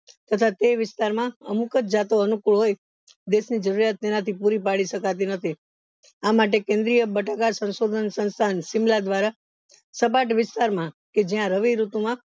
તથા તે વિસ્તાર માં અમુક જ જાતો અનુકુળ હોય દેશ ની જરૂરિયાત તેનાથી પૂરી પડી શકાતી નથી આમટે કેન્દ્રિય બટાકા સંશોધન સંસ્થા શિમલા દ્વારા સપાટ વિસ્તાર માં કે જ્યાં રવિ ઋતુ માં